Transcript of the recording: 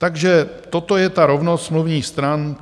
Takže toto je ta rovnost smluvních stran.